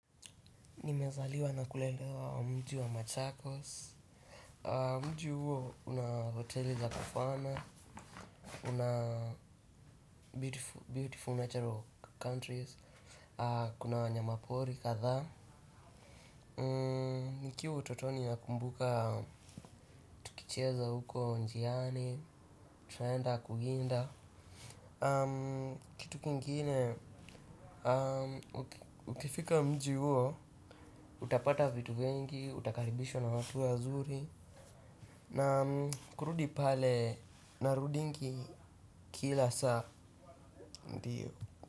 Nimezaliwa na kulelewa mji wa Machakos mji huo una hoteli za kifana una beautiful natural countries, kuna wanyapori kadhaa nikiwa utotoni nakumbuka tukicheza huko njiani, tunaenda kuwinda, kitu kingine, ukifika mji huo utapata vitu vingi, utakaribishwa na watu ya wazuri na kurudi pale narudingi kila saa ndiyo.